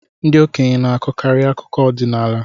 Ndị okenye na-akọkarị akụkọ ọdịnaala.